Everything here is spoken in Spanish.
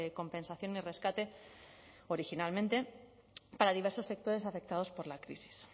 compensación y rescate originalmente para diversos sectores afectados por la crisis